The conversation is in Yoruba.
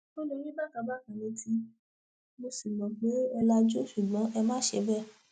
o lè rí bákan bákan létí mo sì mọ pé ẹ lajú ṣùgbọn ẹ má ṣe bẹẹ